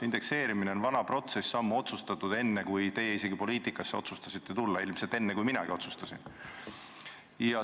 Indekseerimine on vana protsess, otsustatud ammu, enne seda, kui teie poliitikasse otsustasite tulla, ilmselt enne, kui minagi seda otsustasin.